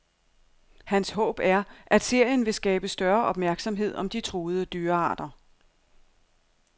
Hans håb er, at serien vil skabe større opmærksomhed om de truede dyrearter.